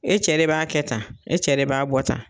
E cɛ de b'a kɛ tan , e cɛ de b'a bɔ tan.